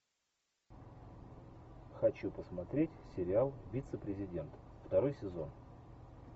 хочу посмотреть сериал вице президент второй сезон